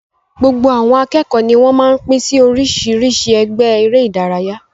Gbogbo àwọn akẹ́kọ̀ọ́ ní wọ́n máa ń pín sí oríṣiríṣi ẹgbẹ́ eré-idárayá.